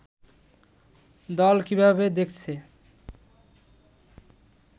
দল কিভাবে দেখছে